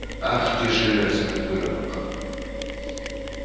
ах ты железный выродок